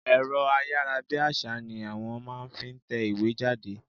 Ẹ̀rọ ayára bí àsá ni wọ́n máa ń fi ń tẹ ìwé jáde.